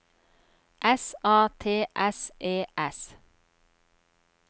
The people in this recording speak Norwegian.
S A T S E S